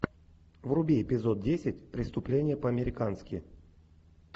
вруби эпизод десять преступление по американски